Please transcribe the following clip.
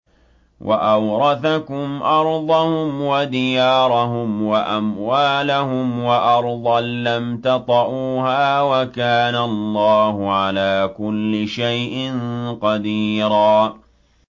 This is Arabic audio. وَأَوْرَثَكُمْ أَرْضَهُمْ وَدِيَارَهُمْ وَأَمْوَالَهُمْ وَأَرْضًا لَّمْ تَطَئُوهَا ۚ وَكَانَ اللَّهُ عَلَىٰ كُلِّ شَيْءٍ قَدِيرًا